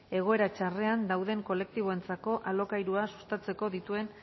egoera txarrenean daude kolektiboentzako alokairua sustatzeko dituen